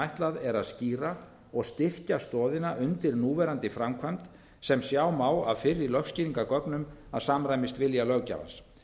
ætlað er að skýra og styrkja stoðina undir núverandi framkvæmd sem sjá má af fyrri lögskýringargögnum að samræmist vilja löggjafans